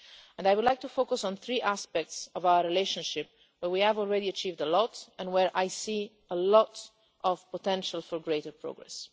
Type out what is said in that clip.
I would like to focus on three aspects of our relationship where we have already achieved a lot and where I see a lot of potential for greater progress.